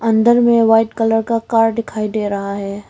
अंदर में white colour का कार दिखाई दे रहा है।